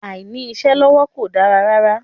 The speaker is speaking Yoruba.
Àìní-iṣẹ́ lọ́wọ́ kò dára rárá.